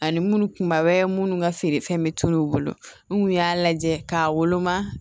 Ani munnu kunbaba wɛrɛ minnu ka feere fɛn bɛ tunun u bolo nu y'a lajɛ k'a woloma